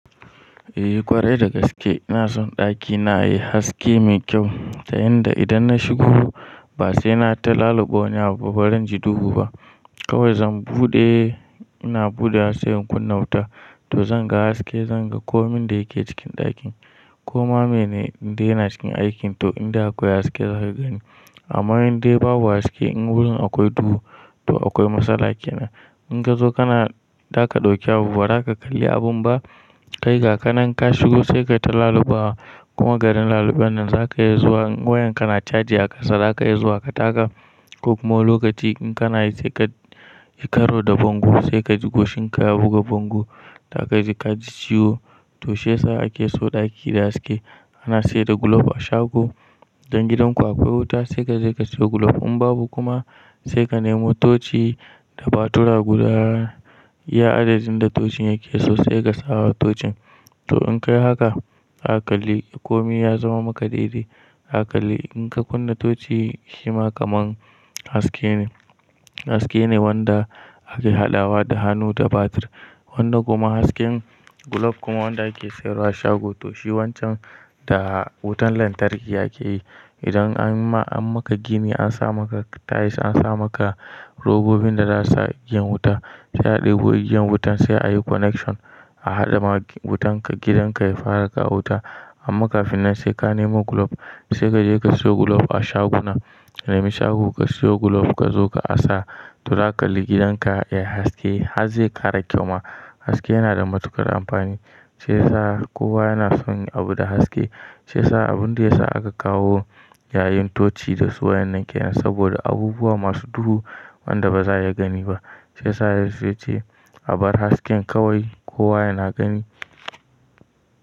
Eh, ƙwarai da gaske ina son ɗakina yayi haske mai kyau, ta yanda idan na shigo ba sai na ta laluɓa wani abu barin ji duhu ba. Kawai zan buɗe, ina buɗewa se in kunna wuta to zan ga haske, zan ga komin da yake cikin ɗakin. Koma mene inde yana cikin aikin to in de akwai haske zaka gani. Amma in dai babu haske in wurin akwai duhu to akwai matsala kenan. In ka zo kana zaka ɗauki abubuwa, ba za ka kalli abun ba. Kai ga kanan ka shigo sai ka ta lalubawa kuma garin laluben nan zaka iya zuwa in wayanka na caji a ƙasa zaka iya zuwa ka taka. Ko kuma wani lokaci in kanayi sai ka yi karo da bango sai ka ji goshin ka ya buga bango zaka ji ka ji ciwo. To shi yasa ake so ɗaki da haske. Ana sayar da gulof a shago. Idan gidanku akwai wuta sai ka je ka siyo gulof. In babu kuma sai ka nemo tochi da batura guda iya adadin da tocin yake so sai ka sawa tocin. To in ka yi haka zaka kalli komi ya zama maka daidai. Zaka kalli in ka kunna toci shi ma kaman haske ne. Haske ne wanda ake haɗawa da hannu da batir. Wanda kuma hasken gulof kuma wanda ake sayarwa a shago to shi wancan da wutan lantarki ake yi. Idan an ma an maka gini an sa maka tiles, an sa maka robobin da za'a igiyan wuta, se a ɗebo igiyan wutan sai a yi connection a haɗa ma wutan ka gidan ka ya fara kawo wuta. Amma kafin nan sai ka nemo gulof, sai ka je ka siyo gulof a shaguna. Kai nemi shago ka siyo gulof ka zo ka asa to za kalli gidan ka yayi haske. Har ze kara kyau ma. Haske yana da matuƙar amfani. Shi yasa kowa yana son yin abu da haske. Shi yasa abun da ya sa aka kawo yayin toci da su wayan nan kenan saboda abubuwa masu duhu wanda ba za a iya gani ba. Shi yasa ya ce a bar hasken kawai kowa yana gani.